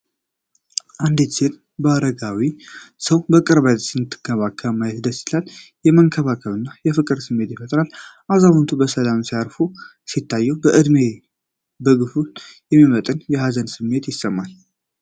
አንዲት ሴት አረጋዊውን ሰው በቅርበት ስትንከባከብ ማየት ደስ ይላል፣ የመንከባከብና የፍቅር ስሜትን ይፈጥራል። አዛውንቱ በሰላም ሲያርፉ ሲታዩ፣ በእድሜ መግፋት የሚመጣ የሀዘን ስሜት ይሰማል።